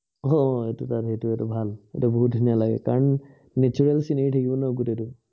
আহ এইটোও তাত, সেইটো এইটো এটা ভাল। সেইটো বহুত ধুনীয়া লাগে, কাৰণ natural scenery থাকিব ন গোটেইটো